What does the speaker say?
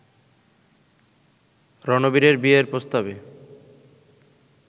রণবীরের বিয়ের প্রস্তাবে